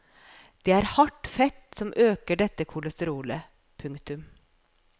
Det er hardt fett som øker dette kolesterolet. punktum